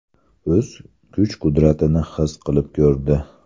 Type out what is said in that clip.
O‘z kuch-qudratini his qilib ko‘rdi.